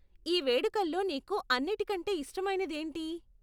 ఈ వేడుకల్లో నీకు అన్నిటి కంటే ఇష్టమైనది ఏంటి?